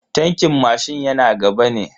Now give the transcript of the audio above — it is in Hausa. Tankin mashin yana gaba ne.